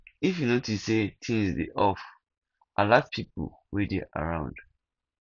if you notice sey things dey off alert pipo wey dey around